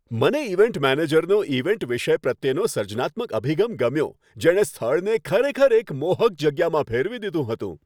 મને ઈવેન્ટ મેનેજરનો ઈવેન્ટ વિષય પ્રત્યેનો સર્જનાત્મક અભિગમ ગમ્યો, જેણે સ્થળને ખરેખર એક મોહક જગ્યામાં ફેરવી દીધું હતું.